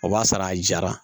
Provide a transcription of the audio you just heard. O b'a sɔrɔ a jara